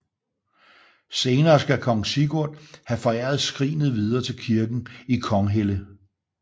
Senere skal kong Sigurd have foræret skrinet videre til kirken i Konghelle